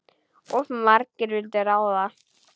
Of margir vildu ráða.